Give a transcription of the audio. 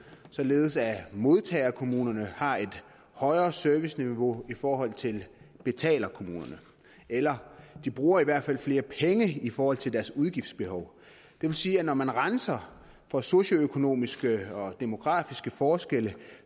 således at modtagerkommunerne har et højere serviceniveau i forhold til betalerkommunerne eller de bruger i hvert fald flere penge i forhold til deres udgiftsbehov det vil sige at når man renser for socioøkonomiske og demografiske forskelle